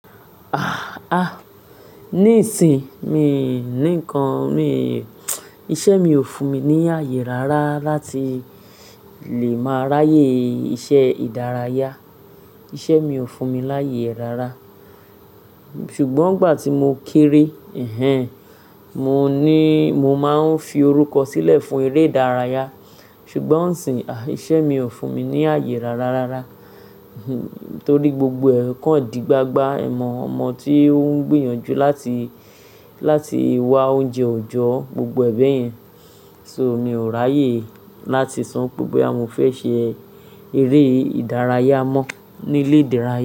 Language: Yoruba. Ah, ah, ní ìsin hin mi ni ǹkan mí, iṣẹ́ mi ò fún mi ní àyè rárá láti lè máa ráyè iṣẹ́ ìdárayá. Iṣẹ́ mi ò fún mi láyè rárá. Ṣùgbọ́n ìgbà tí mo kéré, ẹhn, mo ní, mo máa ń fi orúkọ sílẹ̀ fún eré ìdárayá. Ṣùgbọ́n isìň, iṣẹ́ mi ò fún mi ní àyè rárá rárá. Torí gbogbo ẹ̀ kan dì gbagba ẹ̀mọ̀ ọmọ tí ó ń gbìyànjú láti, láti wá oúnjẹ ọ̀jọ́, gbogbo ẹ̀ bẹ̀yẹn. So mi ò ráyè láti so wipe boya mo fẹ́ ṣe eré ìdárayá mọ́ ní ilé ìdárayá.